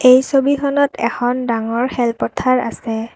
এই ছবিখনত এখন ডাঙৰ খেল পথাৰ আছে।